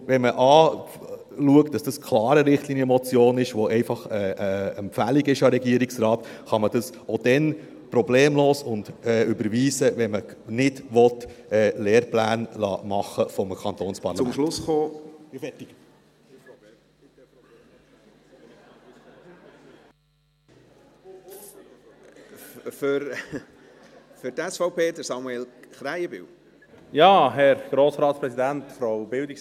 Wenn man sich vor Augen führt, dass das klar eine Richtlinienmotion ist und damit einfach eine Empfehlung an den Regierungsrat, kann man das auch dann problemlos überweisen, wenn man Lehrpläne nicht vom Kantonsparlament machen lassen will.